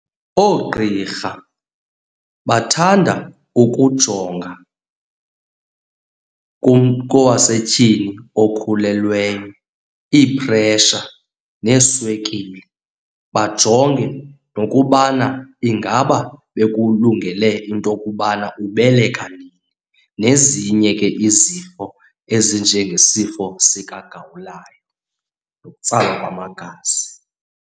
Oogqirha bathanda ukujonga kum kowasetyhini okhulelweyo iiphresha neeswekile. Bajonge nokubana ingaba bekulungele into yokubana ubeleka nini, nezinye ke izifo ezinjengesifo sikagawulayo nokutsalwa kwamagazi.